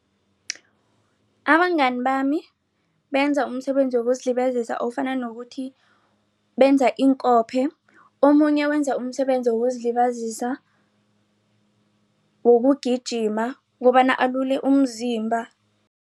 Abangani bami benza umsebenzi wokuzilibazisa ofana nokuthi benza iinkophe omunye wenza umsebenzi wokuzilibazisa wokugijima kobana alule umzimba.